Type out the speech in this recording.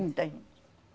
Muita gente.